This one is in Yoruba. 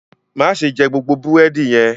Má ṣe jẹ gbogbo búrẹ́dì yẹn!